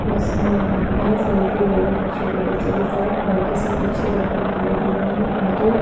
इसमें ये सेल्फी ले रहा है एक छोटे बच्चे के साथ बाकी सब पीछे बेठे दिखाई दे रहे है दूर दूर--